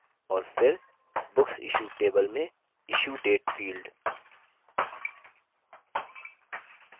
और फिर booksissued table में issue date field